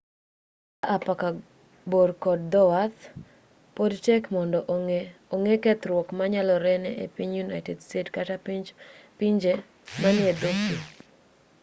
kaa apaka bor kod dhowath pod tek mondo ong'e kethruok manyalore ne piny united states kata pinje man edho pii